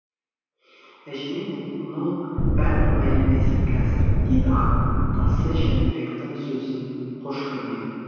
әжеңе бұның бәрі оңай емес қазір дейді атасы жәнібектің сөзін қош көрмей